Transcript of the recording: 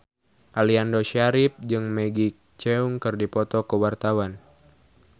Aliando Syarif jeung Maggie Cheung keur dipoto ku wartawan